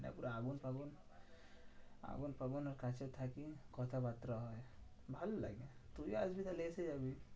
পুরো আগুন ফাগুন আগুন ফাগুনের কাছে থাকি কথাবার্তা হয়। ভালো লাগে তুই আসবি তাহলে এসে যাবি।